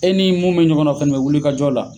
E ni mun be ɲɔgɔn na, o fɛnɛ bɛ wuli ka jɔ la.